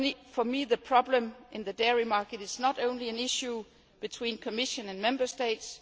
For me, the problem in the dairy market is not only an issue between the Commission and Member States.